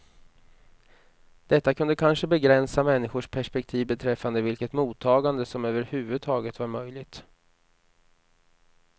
Detta kunde kanske begränsa människors perspektiv beträffande vilket mottagande som överhuvudtaget var möjligt.